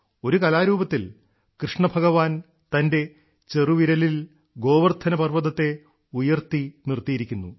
ഒരു കലാരൂപത്തിൽ കൃഷ്ണ ഭഗവാൻ തന്റെ ചെറുവിരലിൽ ഗോവർധന പർവ്വതത്തെ ഉയർത്തി നിർത്തിയിരിക്കുന്നു